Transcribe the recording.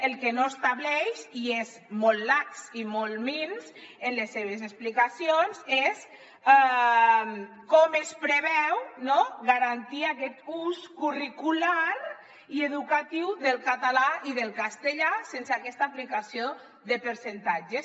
el que no estableix i és molt lax i molt minso en les seves explicacions és com es preveu no garantir aquest ús curricular i educatiu del català i del castellà sense aquesta aplicació de percentatges